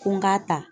Ko n k'a ta